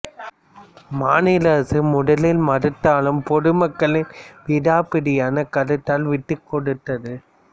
மாநில அரசு முதலில் மறுத்தாலும் பொது மக்களின் விடாப் பிடியான கருத்தால் விட்டுக்கொடுத்தது